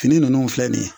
Fini ninnu filɛ nin ye